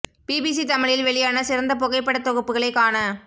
B B C தமிழில் வெளியான சிறந்த புகைப்படத் தொகுப்புகளை காண